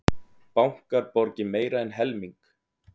Bankar borgi meira en helming